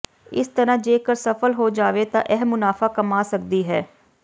ਇਸ ਤਰ੍ਹਾਂ ਜੇਕਰ ਸਫਲ ਹੋ ਜਾਵੇ ਤਾਂ ਇਹ ਮੁਨਾਫ਼ਾ ਕਮਾ ਸਕਦੀ ਹੈ